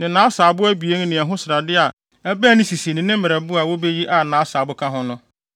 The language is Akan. ne asaabo abien ne ɛho srade a ɛbɛn ne sisia ne ne merɛbo a wobeyi a nʼasaabo ka ho no.